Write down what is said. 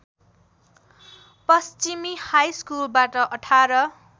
पश्चिमी हाईस्कुलबाट १८